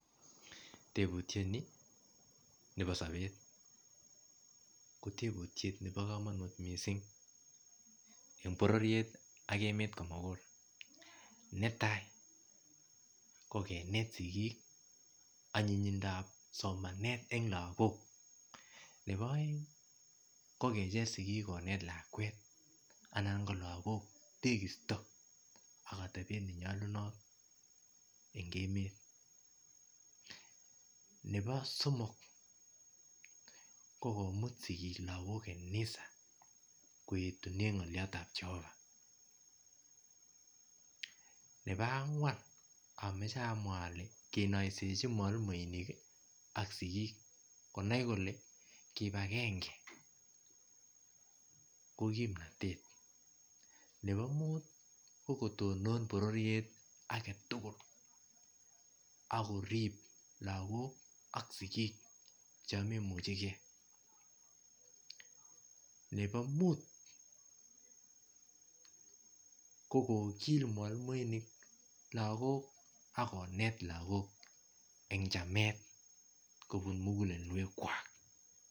Tebutiet ni bo sabeet ko tebutiet nebo kamanut eng borororiet ak emet komugul netai ko kinet sigik agobo kamanut nebo somanet nebo lagook nebo aeng ko kecheeer sigiik kineet lakwet anan lagook tekisto ak atebeet ne nyalunaat en emeet nebo somok komuut sigik kanisa lagook koyetunen kanisa nebo angween kinaisejii mwalimuinik ak sigiik konai kole kibangengei ko kimnatet nebo aeng ko kotonon borororiet tugul ako rib lagook ak sigiik chaang maimuchei gei nebo muut ko kogil mwalimuinik lagook ak konet kobuun muguleldweek kwaak.